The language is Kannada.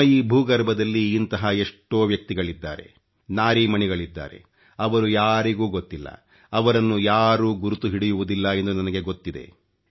ನಮ್ಮ ಈ ಭೂಗರ್ಭದಲ್ಲಿ ಇಂತಹ ಎಷ್ಟೋ ವ್ಯಕ್ತಿಗಳಿದ್ದಾರೆ ನಾರೀಮಣಿಗಳಿದ್ದಾರೆ ಅವರು ಯಾರಿಗೂ ಗೊತ್ತಿಲ್ಲ ಅವರನ್ನು ಯಾರೂ ಗುರುತು ಹಿಡಿಯುವುದಿಲ್ಲ ಎಂದು ನನಗೆ ಗೊತ್ತಿದೆ